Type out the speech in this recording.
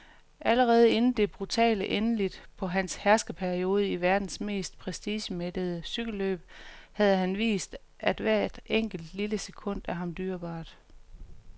Allerede inden det brutale endeligt på hans herskerperiode i verdens mest prestigemættede cykelløb havde han vist, at hvert enkelt, lille sekund er ham dyrebart.